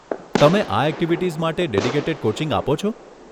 તમે આ એક્ટિવિટીઝ માટે ડેડીકેટેડ કોચિંગ આપો છો?